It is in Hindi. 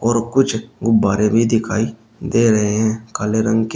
और कुछ गुब्बारे भी दिखाई दे रहे हैं काले रंग के।